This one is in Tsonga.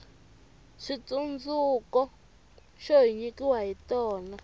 switsundzuko xo hi nyikiwa hi tona